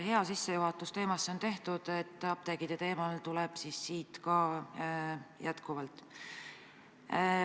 Hea sissejuhatus teemasse on tehtud, apteekide teemal ka jätkan.